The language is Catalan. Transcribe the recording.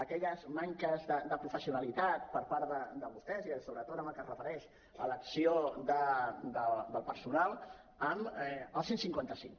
aquella manca de professionalitat per part de vostès i sobretot amb el que es refereix a l’acció del personal amb el cent i cinquanta cinc